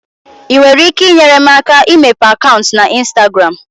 ị nwere ike inyere m aka imepe akaụntụ na ịnstagram?